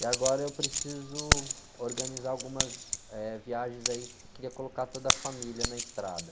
E agora eu preciso organizar algumas, eh, viagens aí, queria colocar toda a família na estrada.